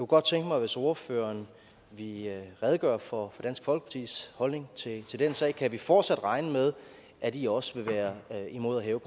godt tænke mig hvis ordføreren ville redegøre for dansk folkepartis holdning til til den sag kan vi fortsat regne med at i også vil være imod at hæve